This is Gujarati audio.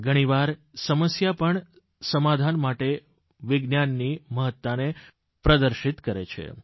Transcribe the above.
ઘણી વાર સમસ્યા પણ સમાધાન માટે વિજ્ઞાનની મહત્તાને પ્રદર્શિત કરે છે